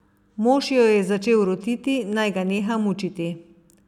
Mož jo je začel rotiti, naj ga neha mučiti.